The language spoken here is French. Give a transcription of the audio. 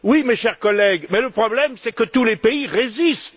Oui, mes chers collègues, mais le problème, c'est que tous les pays résistent.